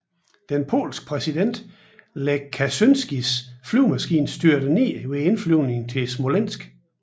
Den polske præsident Lech Kaczynskis flyvemaskine styrtede ned ved indflyvningen til Smolensk